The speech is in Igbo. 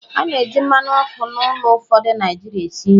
A na-eji mmanụ ọkụ n'ụlọ ụfọdụ Naijiria esi nri